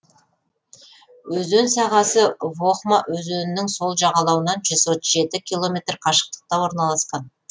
өзен сағасы вохма өзенінің сол жағалауынан жүз отыз жеті километр қашықтықта орналасқан